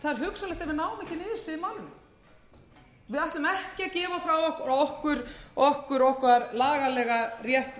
ekki niðurstöðu í málinu við ætlum ekki að gefa frá okkur okkar lagalega rétt